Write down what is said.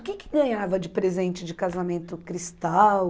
O que que ganhava de presente de casamento cristal?